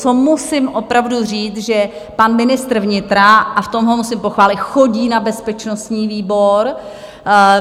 Co musím opravdu říct, že pan ministr vnitra - a v tom ho musím pochválit - chodí na bezpečnostní výbor.